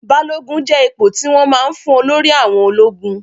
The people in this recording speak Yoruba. Balogun jẹ́ ipò tí wọ́n máa ń fún olórí àwọn ológun.